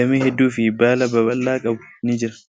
damee hedduu fi baala babal'aa qabu ni jira.